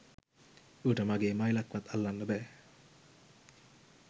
ඌට මගෙ මයිලක්වත් අල්ලන්න බෑ